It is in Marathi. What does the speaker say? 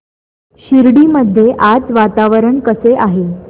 शिर्डी मध्ये आज वातावरण कसे आहे